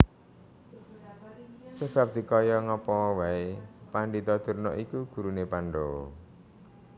Sebab dikaya ngapaa wae Pandhita Durna iku gurune Pandhawa